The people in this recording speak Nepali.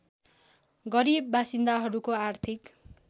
गरिब बासिन्दाहरूको आर्थिक